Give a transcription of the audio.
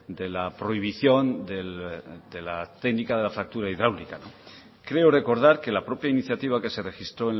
de la prohibición de la técnica de la fractura hidráulica creo recordar que la propia iniciativa que se registró